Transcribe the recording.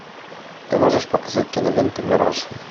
ты можешь показать киноленту мираж